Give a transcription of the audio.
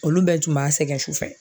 Olu bɛɛ tun b'a sɛgɛn sufɛ